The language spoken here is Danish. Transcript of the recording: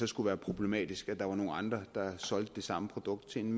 skulle være problematisk at der var nogle andre der solgte det samme produkt til en